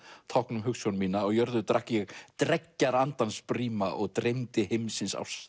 tákn um hugsjón mína á jörðu drakk ég dreggjar andans bríma og dreymdi heimsins ást